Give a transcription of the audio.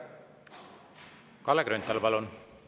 Kalle Grünthal, palun!